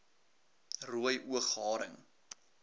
rooi oog haring